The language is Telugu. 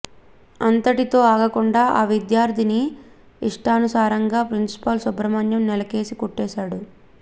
అంతటితో ఆగకుండా ఆ విద్యార్థిని ఇష్టానుసారంగా ప్రిన్సిపాల్ సుబ్రహ్మణం నేలకేసి కొట్టాడు